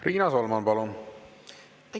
Riina Solman, palun!